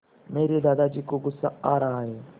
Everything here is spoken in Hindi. मेरे दादाजी को गुस्सा आ रहा है